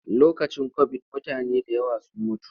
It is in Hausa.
Lokacin kobid mutane da yawa sun mutu.